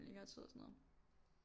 Længere tid og sådan noget